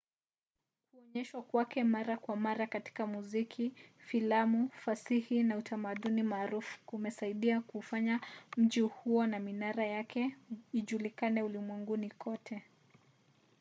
kuonyeshwa kwake mara kwa mara katika muziki filamu fasihi na utamaduni maarufu kumesaidia kuufanya mji huo na minara yake ijulikane ulimwenguni kote